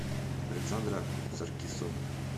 александра саркисовна